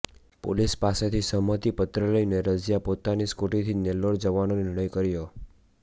police પાસેથી સહમતિ પત્ર લઇને રઝિયા પોતાની સ્કૂટીથી જ નેલ્લોર જવાનો નિર્ણય કર્યો